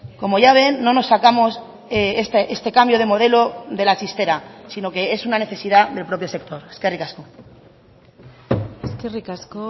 como ya ven no nos sacamos este cambio de modelo de la chistera sino que es una necesidad del propio sector eskerrik asko eskerrik asko